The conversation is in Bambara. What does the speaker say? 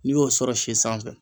N'i y'o sɔrɔ si sanfɛ.